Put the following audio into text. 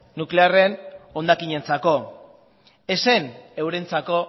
nuklearren hondakinentzako ez zen eurentzako